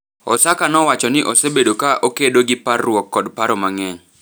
Osaka nowacho ni osebedo ka okedo gi parruok kod paro mang’eny,